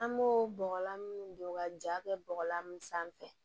An b'o bɔgɔlan don ka ja kɛ bɔgɔlan sanfɛ